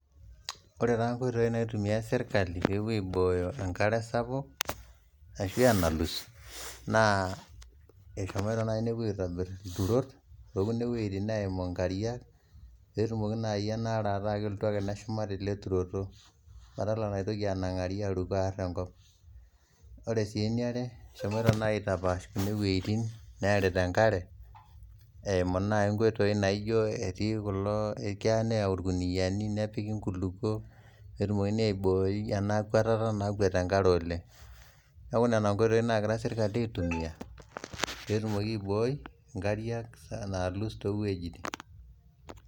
Ore taa nkoitoii naitumiya sirkali peepo aibooyo enkare sapuk shu enalus naa eshomo nai nepo aitobirr lturot too kuna wejitin naimu inkariak peetumoki nai anaare ake ataa kelotu ake neshuma te ale turoto padala naitoki anang'ari alotu aarr' enkop, ore sii eneare eshomoki nai aitapaash kuna wejitin naarita enkare eimu naii enkoitoi naaijo keya neyau lkuniyani nepiki nkulupo peetumokini aibooyu ana kuatata nakwet inkare oleng ,naaaku nenia nkoitoi naagira sirkali aitumiya peetumoki aibooi inkariak naalus too wejitin.